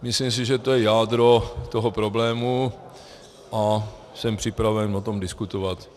Myslím si, že to je jádro toho problému, a jsem připraven o tom diskutovat.